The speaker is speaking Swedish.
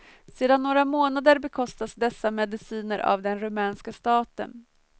Sedan några månader bekostas dessa mediciner av den rumänska staten.